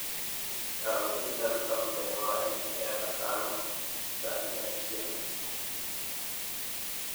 Ndagũthaitha rũta mũthenya wa riita rĩa gatano thaa ithatũ cia ũtukũ